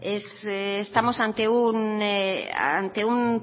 estamos ante un